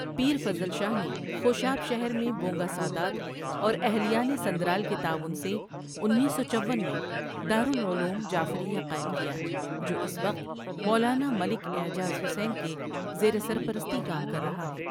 پیر فضل شاہ نے خوشاب شہر میں بونگہ سادات اور اہلیان سندرال کے تعاون سے انیس سو چوون میں دارلعلوم جعفریہ قائم کیا جو اس وقت مولانا ملک اعجاز حسین کے زیر سرپرستی کام کر رہا ہے۔